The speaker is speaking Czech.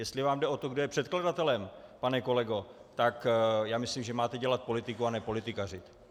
Jestli vám jde o to, kdo je předkladatelem, pane kolego, tak já myslím, že máte dělat politiku a ne politikařit.